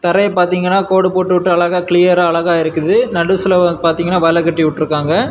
தரையெ பார்த்தீங்கன்னா கோடு போட்டுவிட்டு அழகா கிளியரா அழகா இருக்குது நடுஸ்லெ பாத்தீங்கன்னா வலை கட்டி உட்டுருக்காங்க.